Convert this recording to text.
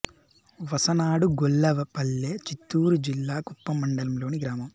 వసనాడుగొల్ల పల్లె చిత్తూరు జిల్లా కుప్పం మండలం లోని గ్రామం